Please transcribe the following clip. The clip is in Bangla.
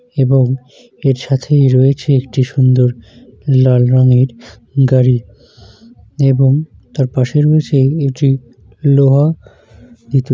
এবং এর সাথেই রয়েছে একটি সুন্দর লাল রঙের গাড়ি এবং তার পাশে রয়েছে একটি লোহা।